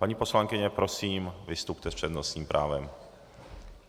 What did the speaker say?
Paní poslankyně, prosím, vystupte s přednostním právem.